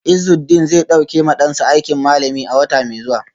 Izudeen zai dauki ma dansa aikin malami a wata mai zuwa.